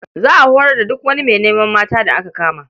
Za a horar da duk wani mai neman mata da aka kama.